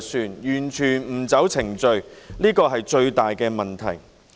它完全不按程序辦事，是最大的問題。